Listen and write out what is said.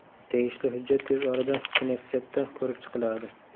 Tegishli hujjat tez orada knessetda ko‘rib chiqiladi.